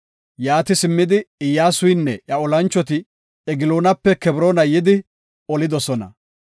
Yaati simmidi, Iyyasuynne iya olanchoti Egloonape Kebroona yidi, olidosona.